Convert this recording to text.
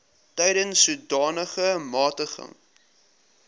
tensy sodanige magtiging